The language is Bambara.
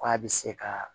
Ko a bɛ se ka